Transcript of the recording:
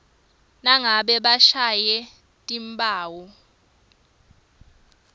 nangabe bashiye timphawu